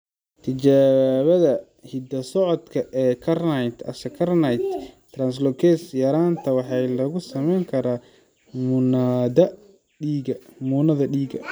Tijaabada hidda-socodka ee carnitine acylcarnitine translocase yaraanta waxaa lagu samayn karaa muunadda dhiigga.